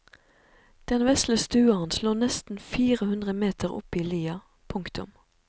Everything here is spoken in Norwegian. Den vesle stua hans lå nesten fire hundre meter oppe i lia. punktum